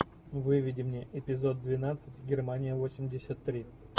выведи мне эпизод двенадцать германия восемьдесят три